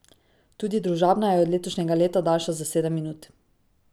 Tudi Družabna je od letošnjega leta daljša za sedem minut.